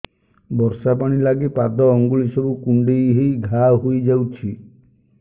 ବର୍ଷା ପାଣି ଲାଗି ପାଦ ଅଙ୍ଗୁଳି ସବୁ କୁଣ୍ଡେଇ ହେଇ ଘା ହୋଇଯାଉଛି